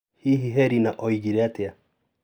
Hihi Herina oigire atĩa?